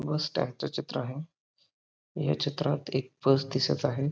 बस stand च चित्र आहे ह्या चित्रात एक बस दिसत आहे.